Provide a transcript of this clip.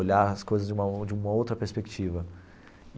Olhar as coisas de uma outra de uma outra perspectiva.